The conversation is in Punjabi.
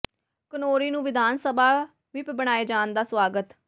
ਘਨੌਰੀ ਨੂੰ ਵਿਧਾਨ ਸਭਾ ਵਿੱਪ੍ਹ ਬਣਾਏ ਜਾਣ ਦਾ ਸਵਾਗਤ